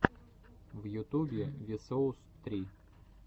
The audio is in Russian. в ютубе ви соус три